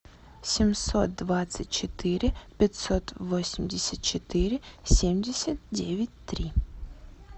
семьсот двадцать четыре пятьсот восемьдесят четыре семьдесят девять три